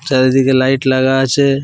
চারিদিকে লাইট লাগা আছে।